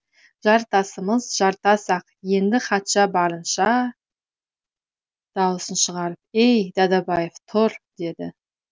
жартасымыз жартас ақ енді хатшы барынша дауысын шығарып әй дадабаев тұр деді